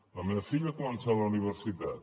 la meva filla ha començat la universitat